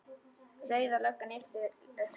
Rauða löggan lyftir upp hönd.